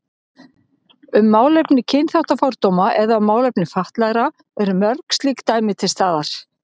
Um málefni kynþáttafordóma eða um málefni fatlaðra eru mörg slík dæmi til staðar.